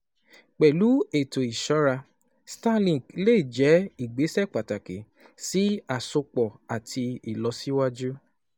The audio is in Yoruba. Pẹ̀lú ètò ìṣọ́ra, Starlink lè jẹ́ ìgbésẹ̀ pàtàkì sí àsopọ̀ àti ìlọsíwájú.